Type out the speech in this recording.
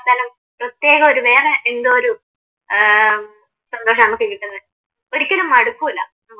പ്രത്യേകം ഒരു വേറെ എന്തോ ഒരു ഏർ സന്തോഷമാണ് നമുക്ക് കിട്ടുന്നത് ഒരിക്കലും മടുക്കൂല നമുക്ക്.